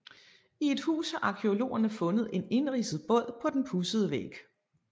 I et hus har arkæologerne fundet en indridset båd på den pudsede væg